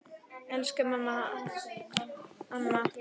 Elsku Hanna amma.